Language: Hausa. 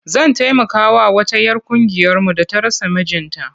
Zan taimakawa wata 'yar ƙungiyarmu da ta rasa mijinta.